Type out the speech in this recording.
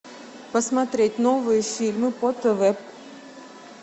посмотреть новые фильмы по тв